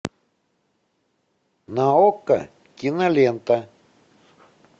на окко кинолента